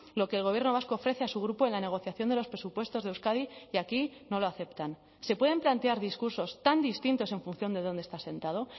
lo que el gobierno vasco ofrece a su grupo en la negociación de los presupuestos de euskadi y aquí no lo aceptan se pueden plantear discursos tan distintos en función de donde está sentado